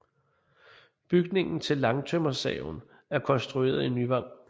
Bygningen til langtømmersaven er rekonstrueret i Nyvang